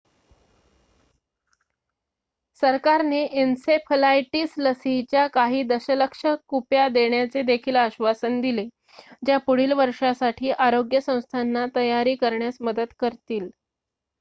सरकारने एन्सेफलायटिसलसीच्या काही दशलक्ष कुप्या देण्याचेदेखील आश्वासन दिले ज्या पुढीलवर्षासाठी आरोग्य संस्थांना तयारी करण्यास मदत करतील